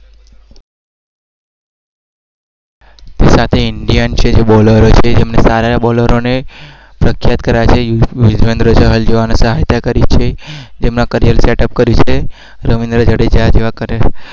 સાથે